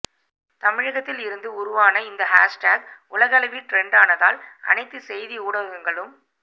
தமிழகத்தில் இருந்து உருவான இந்த ஹேஷ்டேக் உலகளவில் ட்ரென்ட்டானதால் அனைத்து செய்தி ஊடகங்களும்